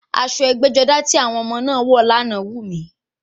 Aṣọ ẹgbẹ́-jọdá ti àwọn ọmọ náà wọ̀ lánàá wù mí.